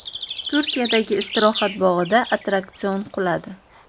Turkiyadagi istirohat bog‘ida attraksion quladi.